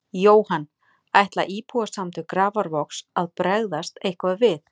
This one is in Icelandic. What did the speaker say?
Jóhann: Ætla Íbúasamtök Grafarvogs að bregðast eitthvað við?